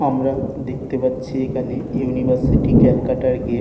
আমরা দেখতে পাচ্ছি এখানে ইউনিভার্সিটি ক্যালকাটা -এর গেট ।